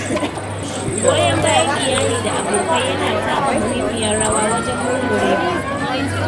Goyon bayan iyali da abokai yana taka muhimmiyar rawa wajen murmurewa.